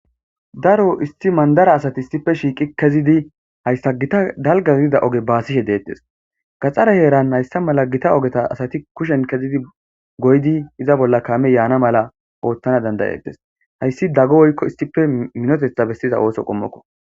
daro isti mandara asati istipe shiiqi kezidi hayssa gita dalgazidida oge baasishe deettes gaxxare heeran hayssa mala gita ogeta asati kushen kezidi goydi iza bolla kaame yaana mala oottana dandayetes hayssi daggo woykko istipe minotetha bestiza ooso qommokko